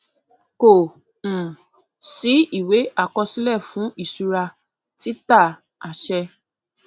kò um sí ìwé àkọsílẹ fún ìṣura títà àṣẹ